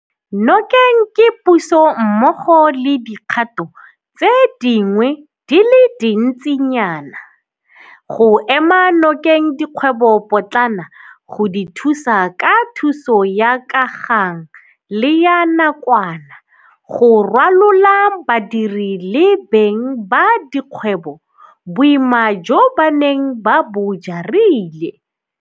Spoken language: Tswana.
Nokeng ke Puso mmogo le dikgato tse dingwe di le dintsinyana go ema nokeng dikgwebopotlana go di thusa ka thuso ya ka gang le ya nakwana go rwalola badiri le beng ba dikgwebo boima jo ba neng ba bo jarile.